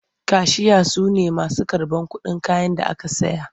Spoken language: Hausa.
Kashiya su ne masu karɓar kuɗin kayan da aka saya.